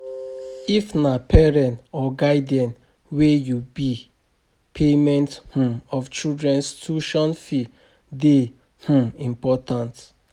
If na parent or guidian wey you be payment um of children's tution fee de um important